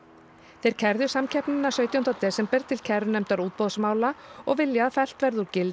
þeir kærðu samkeppnina sautjánda desember til kærunefndar útboðsmála og vilja að fellt verði úr gildi